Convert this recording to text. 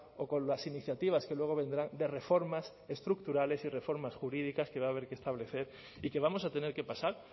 o con las iniciativas que luego vendrán de reformas estructurales y reformas jurídicas que va a haber que establecer y que vamos a tener que pasar